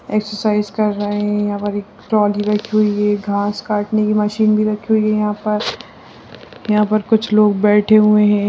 Exercise कर रहे हैं यहाँ पर ट्रॉली रखी हुई है घास काटने की मशीन भी रखी हुई है यहाँ पर यहाँ पर कुछ लोग बैठे हुए हैं।